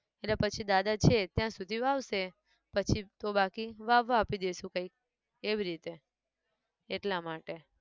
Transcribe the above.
એટલે પછી દાદા છે ત્યાં સુધી વાવશે, પછી તો બાકી, વાવવા આપી દઇશુ કંઈક, એવી રીતે, એટલા માટે